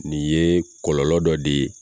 Nin ye kɔlɔlɔ dɔ de ye